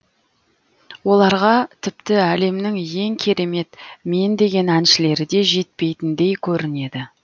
оларға тіпті әлемнің ең керемет мен деген әншілері де жетпейтіндей көрінеді